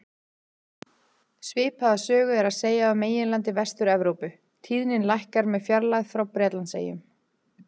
Svipaða sögu er að segja af meginlandi Vestur-Evrópu, tíðnin lækkar með fjarlægð frá Bretlandseyjum.